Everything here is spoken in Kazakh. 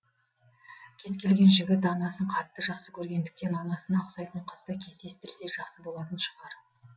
кез келген жігіт анасын қатты жақсы көргендіктен анасына ұқсайтын қызды кездестірсе жақсы болатын шығар